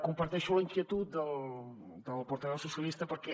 comparteixo la inquietud del portaveu socialista perquè